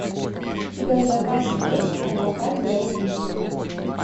у тебя в запасе есть адвокат для убийцы